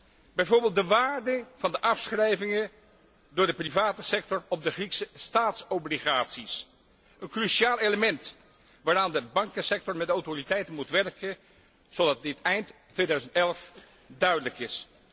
Ik denk bijvoorbeeld aan de waarde van de afschrijvingen door de particuliere sector op de Griekse staatsobligaties, een cruciaal element waaraan de bankensector met de autoriteiten moet werken zodat dit eind 2011 duidelijk is.